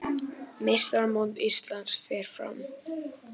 Meistaramót Íslands fer fram